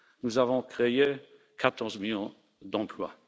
Nous avons créé 14 millions d'emplois.